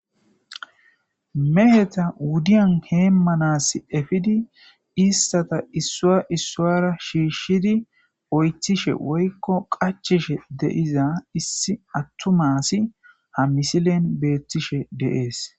meheta wuddiyan heemmanas efidi istata issua issuara shiishshidi oythishe woykko qachishe deiza issi attumasi ha misilen beettishe deees